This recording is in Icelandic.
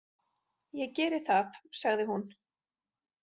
Ég geri það, sagði hún.